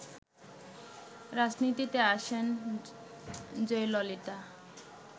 রাজনীতিতে আসেন জয়ললিতা